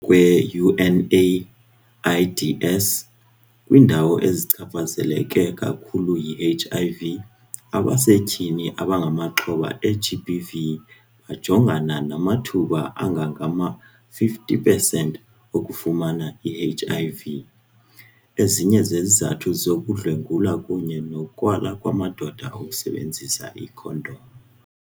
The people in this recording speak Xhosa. kwe-UNAIDS, kwiindawo ezichaphazeleke kakhulu yi-HIV, abasetyhini abangamaxhoba e-GBV bajongana namathuba angangama-50 percent okufumana i-HIV. Ezinye zezizathu zoku kukudlwengulwa kunye nokwala kwamadoda ukusebenzisa iikhondom.